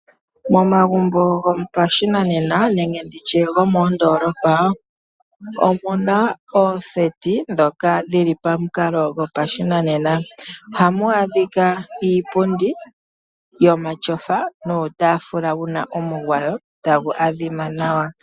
Momagumbo ngopashinanena nenge nditye gomondolopa omuna oseti dhoka dhili pamukalo yopashinanena, ohamwadhika iipundi yomatyofa nuutafula wuna onungwawo tangu adhima Nawa.